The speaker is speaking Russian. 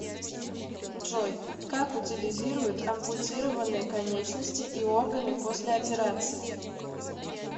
джой как утилизируют ампутированные конечности и органы после операции